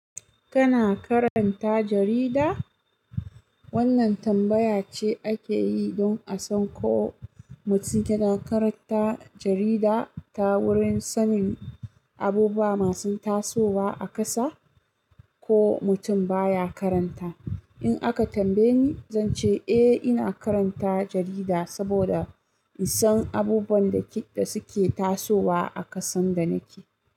Kana karanta jarida? Wannan tambaya ce ake yi don a san ko mutum yana karanta jarida ta wurin sanin abubuwa masu tasowa a ƙasa, ko mutum baya karanta. In aka tambaye ni, zan ce eh ina karanta jarida saboda in san abubuwan da suke tasowa a ƙasan da nake.